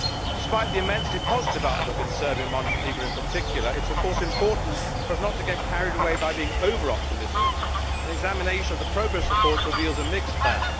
Despite the immensely positive outlook in Serbia and Montenegro in particular, it is important for us not to get carried away by being over optimistic. An examination of the progress reports reveals a mixed bag.